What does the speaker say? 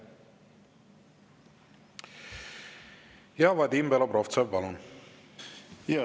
Vadim Belobrovtsev, palun!